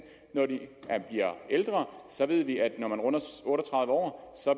når de bliver ældre så ved vi at når man runder otte og tredive år